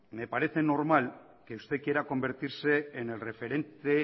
me parece normal que usted quiera convertirse en el referente